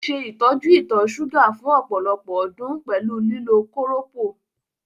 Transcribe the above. Ó ṣe ìtọ́jú ìtọ̀ ṣúgà fún ọ̀pọ̀lọpọ̀ ọdún pẹ̀lú lílo kóròpó.